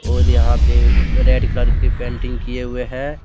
और यहां पे रेड कलर की पेंटिंग किए हुए हैं।